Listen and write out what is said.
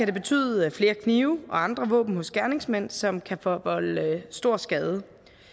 det betyde flere knive og andre våben hos gerningsmænd som kan forvolde stor skade